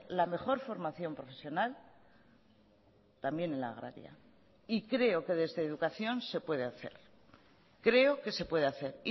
la mejor formación profesional también en la agraria y creo que desde educación se puede hacer creo que se puede hacer